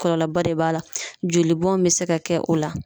Kɔlɔlɔba de b'a la. Jolibɔn be se ka kɛ o la.